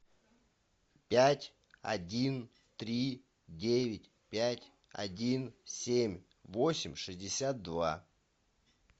пять один три девять пять один семь восемь шестьдесят два